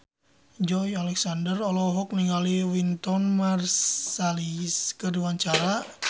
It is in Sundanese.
Joey Alexander olohok ningali Wynton Marsalis keur diwawancara